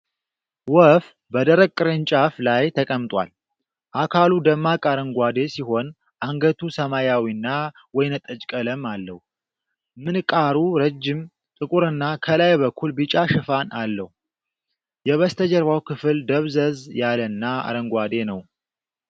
ወፍ በደረቅ ቅርንጫፍ ላይ ተቀምጧል:: አካሉ ደማቅ አረንጓዴ ሲሆን፣ አንገቱ ሰማያዊና ወይንጠጅ ቀለም አለው:: ምንቃሩ ረጅም፣ ጥቁርና ከላይ በኩል ቢጫ ሽፋን አለው:: የበስተጀርባው ክፍል ደብዘዝ ያለና አረንጓዴ ነው::